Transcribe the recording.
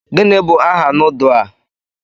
Gịnị bụ aha nudu a?